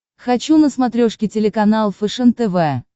хочу на смотрешке телеканал фэшен тв